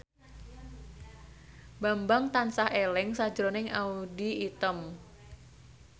Bambang tansah eling sakjroning Audy Item